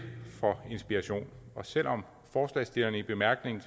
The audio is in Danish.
for inspiration og selv om forslagsstillerne i bemærkningerne